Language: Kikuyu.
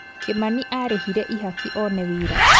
Kĩmani arĩhire ihaki one wĩra